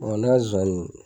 Nɔnɔ ne ka zonzani